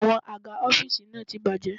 Àwọn àga ọ́fíìsì náà ti bàjé.